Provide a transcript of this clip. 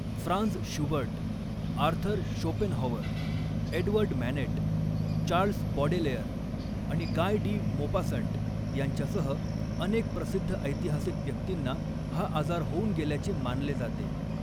Franz Schubert, Arthur Schopenhauer, Edward Manet, Charles Baudelaire आणि Guy de Maupassant यांच्यासह अनेक प्रसिद्ध ऐतिहासिक व्यक्तींना हा आजार होऊन गेल्याचे मानले जाते.